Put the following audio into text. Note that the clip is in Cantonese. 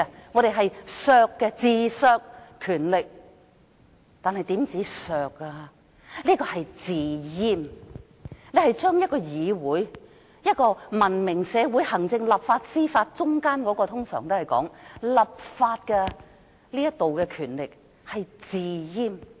我們自削權力，這不單是自削，更是"自閹"，是把文明社會中，行政、立法和司法三方中的議會權力"自閹"。